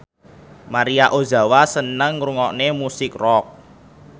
Maria Ozawa seneng ngrungokne musik rock